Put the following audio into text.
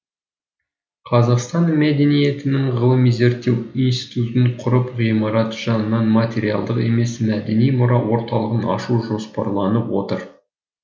қазақстан мәдениетінің ғылыми зерттеу институтын құрып ғимарат жанынан материалдық емес мәдени мұра орталығын ашу жоспарланып отыр